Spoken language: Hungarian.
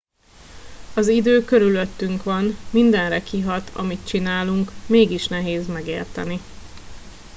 az idő körülöttünk van mindenre kihat amit csinálunk mégis nehéz megérteni